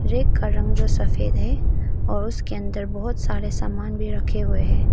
Rack का रंग जो सफेद है और उसके अंदर बहोत सारे सामान भी रखे हुए हैं।